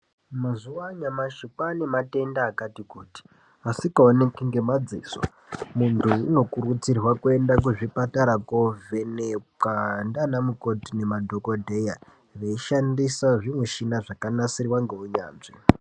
Mazuwa anyamashi kwane matenda akati kuti asikaoneki ngemadziso, muntu unokurudzirwa kuenda kuzvipatara kovhenekwa ndiana mukoti nemadhokodheya veishandisa zvimushina zvakanasirwa ngeunyanzvi.